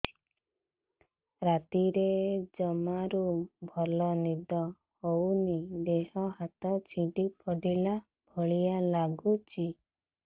ରାତିରେ ଜମାରୁ ଭଲ ନିଦ ହଉନି ଦେହ ହାତ ଛିଡି ପଡିଲା ଭଳିଆ ଲାଗୁଚି